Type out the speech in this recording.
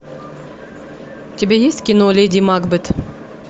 у тебя есть кино леди макбет